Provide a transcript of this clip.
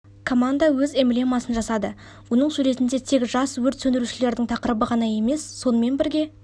команда өз эмблемасын жасады оның суретінде тек жас өрт сөндірушілердің тақырыбы ғана емес сонымен бірге